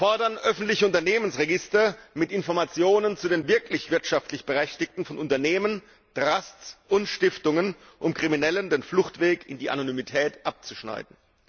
Wir fordern öffentliche Unternehmensregister mit Informationen zu den wirklichen wirtschaftlich Berechtigten von Unternehmen, Trusts und Stiftungen, um Kriminellen den Fluchtweg in die Anonymität abzuschneiden.